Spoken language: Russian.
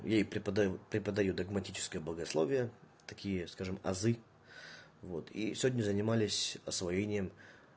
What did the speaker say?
ей преподаю преподаю догматическое богословие такие скажем азы вот и сегодня занимались освоением